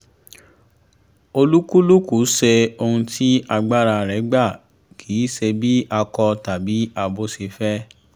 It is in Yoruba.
olúkúlùkù ṣe ohun tí agbára rẹ̀ gbà kì í ṣe bí akọ tàbí abo ṣe fẹ́